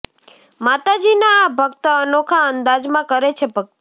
માતાજીના આ ભક્ત અનોખા અંદાજમાં કરે છે ભક્તિ